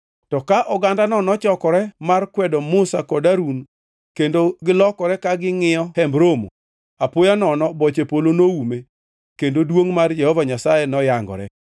To ka ogandano nochokore mar kwedo Musa kod Harun kendo gilokore ka gingʼiyo Hemb Romo, apoya nono boche polo noume kendo duongʼ mar Jehova Nyasaye noyangore.